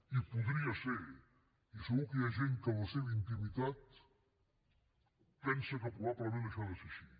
hi podria ser i segur que hi ha gent que en la seva intimitat pensa que probablement això ha de ser així